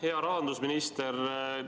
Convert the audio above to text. Hea rahandusminister!